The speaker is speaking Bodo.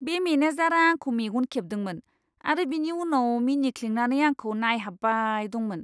बे मेनेजारआ आंखौ मेगन खेबदोंमोन आरो बिनि उनाव मिनिख्लेंनानै आंखौ नायहाब्बाय दंमोन!